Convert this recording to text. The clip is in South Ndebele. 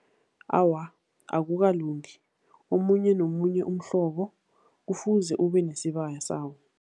Awa, akukalungi. Omunye nomunye umhlobo kufuze ubenesibaya sawo.